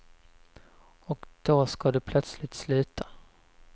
Och då ska du plötsligt sluta.